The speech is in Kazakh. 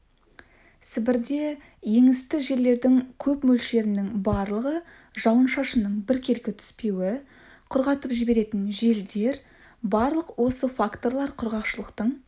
сібірде еңісті жерлердің көп мөлшерінің барлығы жауын-шашынның біркелкі түспеуі құрғатып жіберетін желдер барлық осы факторлар құрғақшылықтың